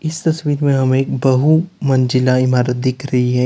इस तस्वीर में हमें बहु मंजिला इमारत दिख रही है।